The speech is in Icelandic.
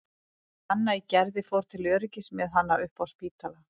Anna í Gerði fór til öryggis með hana upp á Spítala.